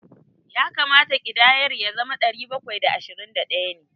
Ya kamata ƙidayar ya zama ɗari bakwai da ashirin da ɗaya ne.